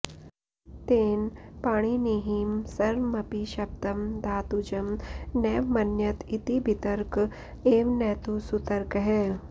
तेन पाणिनिहिं सर्वमपि शब्दं धातुजं नैव मन्यत इति बितर्क एव न तु सुतर्कः